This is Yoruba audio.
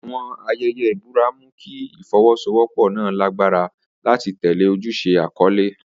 Àwọn ayẹyẹ ìbúra mú kí ìfọwọ́sowọ́pọ̀ náà lágbára láti tẹ̀lé ojúṣe àkọ́lé.